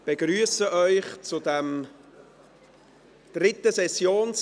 Ich begrüsse Sie zum dritten Tag der Session.